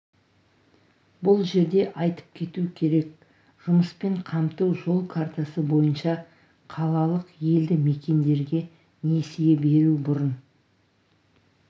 бұл жерде айтып кету керек жұмыспен қамту жол картасы бойынша қалалық елді мекендерге несие беру бұрын